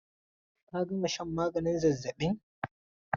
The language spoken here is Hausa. Ka gama shan maganin zazzabin!